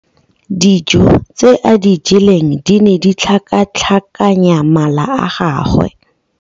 Dijô tse a di jeleng di ne di tlhakatlhakanya mala a gagwe.